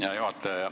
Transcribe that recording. Hea juhataja!